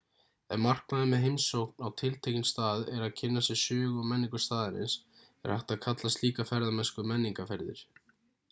ef markmiðið með heimsókn á tiltekinn stað er að kynna sér sögu og menningu staðarins er hægt að kalla slíka ferðamennsku menningarferðir